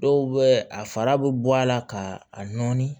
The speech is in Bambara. Dɔw bɛ a fara bɛ bɔ a la ka a nɔɔni